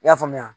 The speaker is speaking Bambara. I y'a faamuya